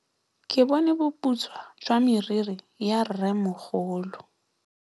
Ke bone boputswa jwa meriri ya rrêmogolo.